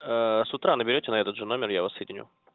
с утра наберёте на этот же номер я вас соединю